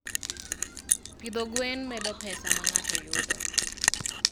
Pidho gwen medo pesa ma ng'ato yudo.